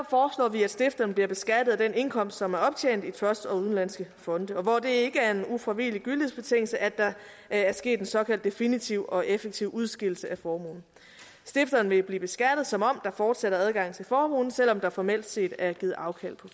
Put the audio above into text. vi at stifteren bliver beskattet af den indkomst som er optjent i trusts og udenlandske fonde og hvor det ikke er en ufravigelig gyldighedsbetingelse at der er sket en såkaldt definitiv og effektiv udskillelse af formuen stifteren vil blive beskattet som om der fortsat er adgang til formuen selv om der formelt set er givet afkald på